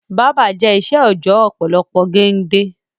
Báábà jẹ ìṣe òojọ́ ọ̀pọ̀lọpọ̀ gende